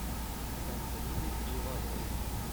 антонины ивановны